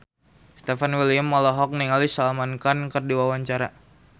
Stefan William olohok ningali Salman Khan keur diwawancara